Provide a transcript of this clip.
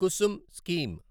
Kusum scheme